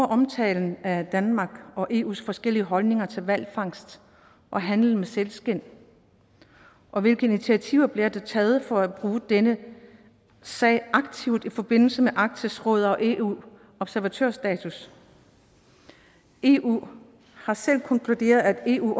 omtalen af danmark og eus forskellige holdninger til hvalfangst og handel med sælskind og hvilke initiativer bliver der taget for at bruge denne sag aktivt i forbindelse med arktisk råd og eus observatørstatus eu har selv konkluderet at eu